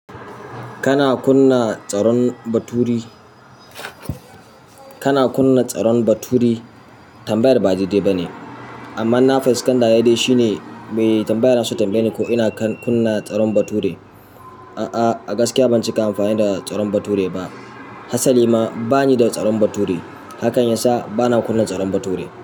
Kana kunna tsaron baturi? Kana kunna tsaron baturi? Tambayar ba daidai ba ne, amma in na fuskanta dai dai shine. Mai tambayar yana so ya tambaye ni ko ina kunna tsaron bature? A'a, a gaskiya ban cika amfani da tsaron baturi ba. Hasali ma bani da tsaron baturi. Hakan yasa bana kunna tsaron baturi.